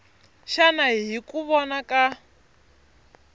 xana hi ku vona ka